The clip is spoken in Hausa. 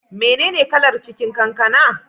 Mene ne kalar cikin kankana?